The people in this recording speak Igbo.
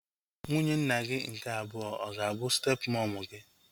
Nwunye nna gị nke abụọ ọ ga-abụ step mọmu gị?